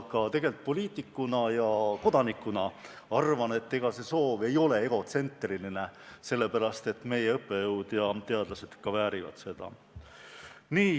Ka poliitikuna ja kodanikuna ma arvan, et see soov ei ole egotsentriline – meie õppejõud ja teadlased väärivad seda.